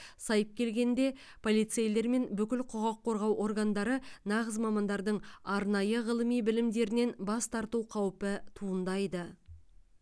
сайып келгенде полицейлер мен бүкіл құқық қорғау органдары нағыз мамандардың арнайы ғылыми білімдерінен бас тарту қаупі туындайды